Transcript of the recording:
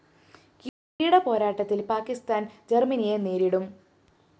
കിരീടപ്പോരാട്ടത്തില്‍ പാക്കിസ്ഥാന്‍ ജര്‍മനിയെ നേരിടും